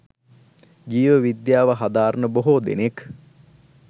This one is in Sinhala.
ජීව විද්‍යාව හදාරන බොහෝ දෙනෙක්